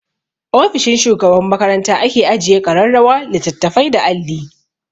Ofishin shugaban makaranta ake ajiye ƙararrawa, littattafai da alli.